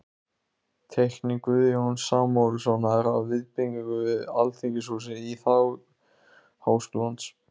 Teikning Guðjóns Samúelssonar af viðbyggingu við Alþingishúsið í þágu Háskólans.